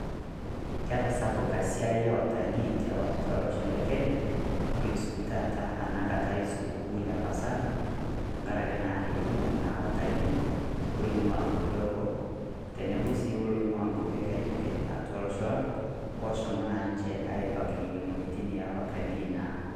Ketasapuka siaai e watalaii te telosho le Kenya. Nolusoki taata enakataa e siku kuu le pasaka tanga'ari naa ekumook naa watalii oewua kwaapi eboo teneboo si loewua nkwapi e Kenya ake atua loosho lang' oshomoo naa ninchee aibaak enia ng'ojitin e watalii naa.